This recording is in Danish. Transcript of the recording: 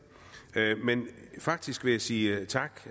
men faktisk vil jeg sige tak